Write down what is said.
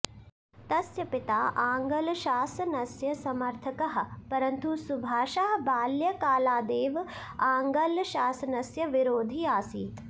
तस्य पिता आङ्लशासनस्य समर्थकः परन्तु सुभाषः बाल्यकालादेव आङ्लशासनस्य विरोधी आसीत्